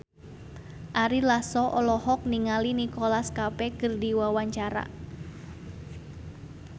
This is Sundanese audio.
Ari Lasso olohok ningali Nicholas Cafe keur diwawancara